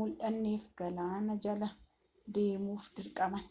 muldhanneef gaalaana jala deemuuf dirqaman